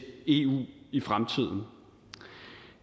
eu i fremtiden